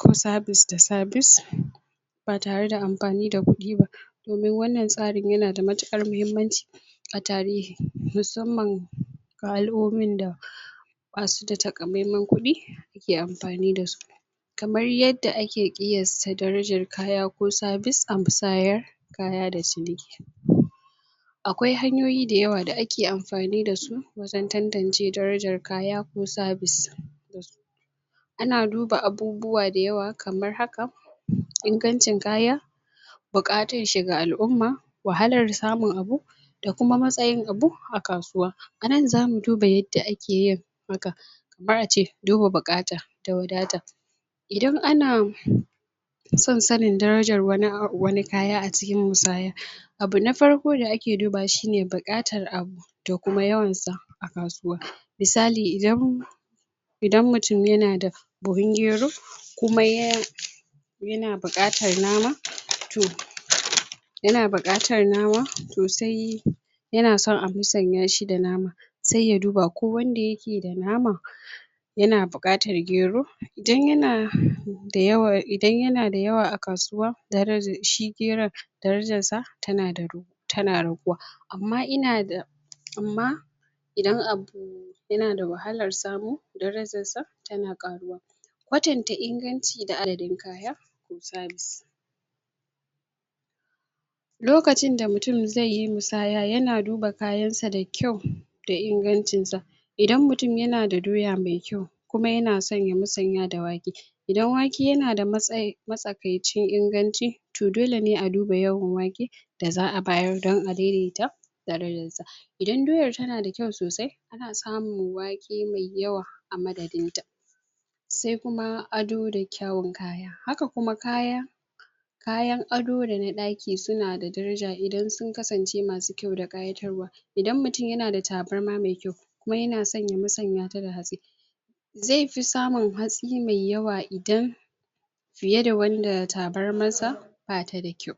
da service da service ba tare da amfani da kudi ba domin wanann tsarin yanada matukar mahimmanci a tarihi, musamman ga al'umomin da basuda takamaiman kudi suke amfani dasu kamar yadda ake kiyasta darajar kaya ko service a musayar, kaya da ciniki akwai hanyoi dayawa da ake amfani dasu wajen tantance darajar kaya ko service ana duba abubuwa dayawa kamar haka ingancin kaya bukatarshi ga al'umma, wahalar samun abun da kuma matsayin abu a kasuwa anan zamu duba yadda akeyin haka ake duba buqata, da wadata idan ana son sanin darajar wani kaya a cikin musaya abu na farko d ake dubawa shine bukatar abu da kuma yawansa a kasuwa misali idan idan mutum yanada buhun gero kuma yana bukatar nama, to yana buqatar nama, to sai yanason a musanya shi da nama sai ya duba akwai wanda yakeda nama, yana buqatar gero? idan yanada yawa a kasuwa, shi geron darajarsa tana raguwa amma inada amma idan abu yanada wahalar samu, darajarsa, tana karuwa kwatanta inganci da adadin kaya, ko service lokacinda mutum Idan mutum yanada doya mai kyau, kuma yanason ya musanya da wake, Idan wake yanada matsakaicin inganci, to dole ne a duba yawan wake, da za'a bayar dan a daidaita Idan doyar tanada kyau sosai za'a samu wake mai yawa a madadinta sai kuma ado da kyawun kaya Na ado da na daki sunada daraja idan sun kasance masu kyau da kayatar wa Idan mutum yanada tabarma mai kyau Kuma yana son ya musanya ta da hatsi, zai fi samun hatsi mai yawa fiye da wanda tabarmarsa batada kyau